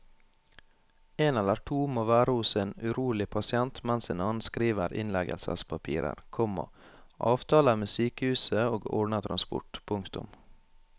En eller to må være hos en urolig pasient mens en annen skriver innleggelsespapirer, komma avtaler med sykehuset og ordner transport. punktum